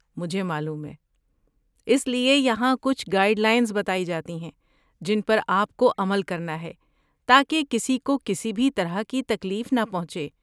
مجھے معلوم ہے۔ اس لیے یہاں کچھ گائیڈ لائنز بتائی جاتی ہیں جن پر آپ کو عمل کرنا ہے تاکہ کسی کو کسی بھی طرح کی تکلیف نہ پہنچے۔